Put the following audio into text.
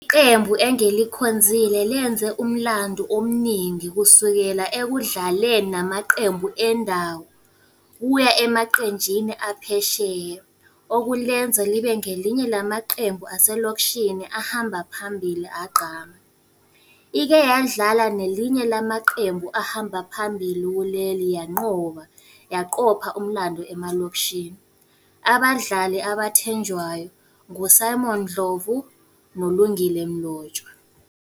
Qembu engilikhonzile lenze umlando omningi kusukela ekudlaleni namaqembu endawo, kuya emaqenjini aphesheya. Okulenza libe ngelinye lamaqembu aselokishini ahamba phambili agqame. Ike yadlala nelinye lamaqembu ahamba phambili kuleli yanqoba, yaqopha umlando emalokishini. Abadlali abathenjwayo ngu-Simon Ndlovu, noLungile Mlotshwa.